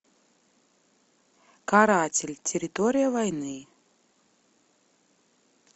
каратель территория войны